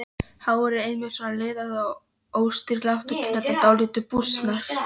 Hárið einmitt svona liðað og óstýrilátt og kinnarnar dálítið bústnar.